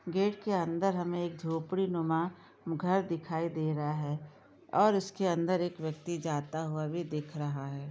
gate के अंदर हमे एकझोपड़ी नुमा घर दिखाई दे रहा है और उसके अंदर एक व्यक्ति जाता हुआ भी दिख रहा है|